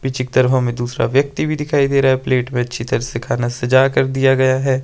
पीछे की तरफ हमें दूसरा व्यक्ति भी दिखाई दे रहा है प्लेट में अच्छी तरह से खाना सजा कर दिया गया है।